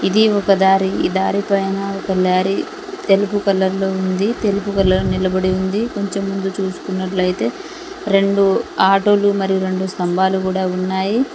ఇది ఒక దారి ఈ దారి పైన ఒక లారీ తెలుపు కలర్ లో ఉంది తెలుపుకలర్ నిలబడి ఉంది కొంచెం ముందు చూసుకున్నట్లయితే రెండు ఆటోలు మరియు రెండు స్తంభాలు గుడా ఉన్నాయి.